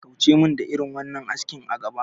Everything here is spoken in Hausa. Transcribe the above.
Kauce mun da irin wannan aski a gabana